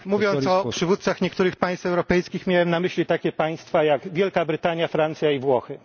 Mówiąc o przywódcach niektórych państw europejskich, miałem na myśli takie państwa jak Wielka Brytania, Francja i Włochy.